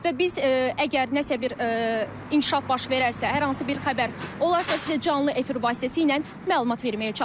Və biz əgər nəsə bir inkişaf baş verərsə, hər hansı bir xəbər olarsa, sizə canlı efir vasitəsilə məlumat verməyə çalışacağıq.